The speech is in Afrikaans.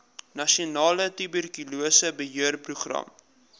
nasionale tuberkulose beheerprogram